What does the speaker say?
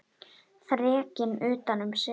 Þrekinn utan um sig.